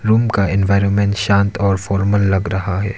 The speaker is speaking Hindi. रूम का एनवायरनमेंट शांत और फॉर्मल लग रहा है।